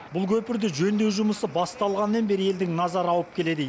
бұл көпірде жөндеу жұмысы басталғаннан бері елдің назары ауып келеді